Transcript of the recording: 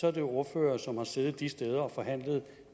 er ordførere som har siddet de steder og forhandlet